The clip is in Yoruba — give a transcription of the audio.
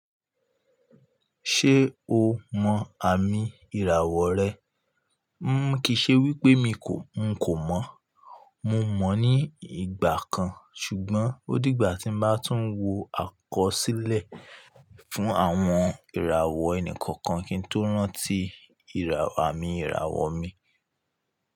Ṣé o mọ àmì ìràwọ̀ rẹ? Kí ì ṣe wípé mi kò, n kò mọ̀. Mo mọ̀ ní ìgbà kan ṣùgbọ́n ó dìgbà tí n bá tún wọ àkọsílẹ̀ fún àwọn ìràwọ̀ ẹnì kọ̀ọ̀kan kí n tó rántí àmi ìràwọ̀ mi.